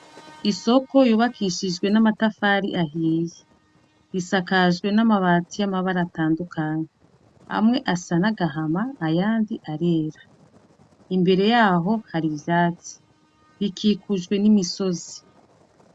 Isoko yubakishijwe n'amatafari ahiye. Risakajwe n'amabati atandukanye amwe asa n'agahama ayandi arera. Imbere yaho hari ivyatsi. Rikikujwe n'imisozi.